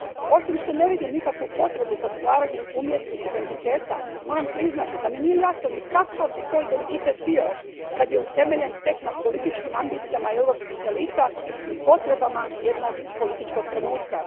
Osim što ne vidim nikakvu potrebu za stvaranjem umjetnih identiteta, moram priznati da mi nije jasno ni kakav bi to identitet bio kad je utemeljen tek na političkim ambicijama europskih elita i potrebama jednog političkog trenutka.